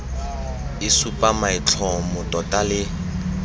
e supa maitlhomo tota le